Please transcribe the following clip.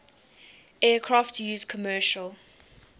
aircraft used commercial